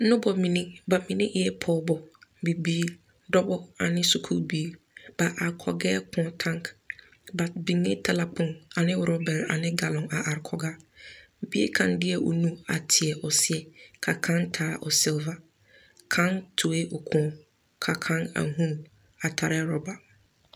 Noba mine, ba mine eɛ pɔgeba, dɔba ane bibiiri ba are kɔgɛɛ kõɔ kaŋ. Ba biŋee talakpoŋ ane orɔpɔgeba ne dɔbɔ ne biiri la are kɔrɔ kõɔ ennɛ ba bogitiri bare ane galɔŋ a are kɔge a. bie kaŋ deɛ onu a teɛ o seɛ, ka kaŋ taa o seleba kaŋ tuoe o kõɔ, ka kaŋ a huuni a tare a orɔba.